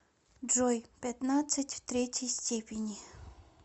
джой пятнадцать в третьей степени